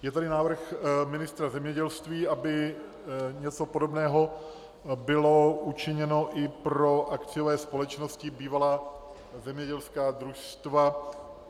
Je tady návrh ministra zemědělství, aby něco podobného bylo učiněno i pro akciové společnosti, bývalá zemědělská družstva.